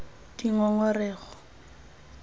dingongorego